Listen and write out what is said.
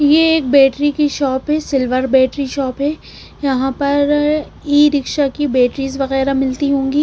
ये एक बैटरी की शॉप है सिल्वर बैटरी शॉप है यहां पर ई रिक्शा की बैटरीज वगैरह मिलती होंगी।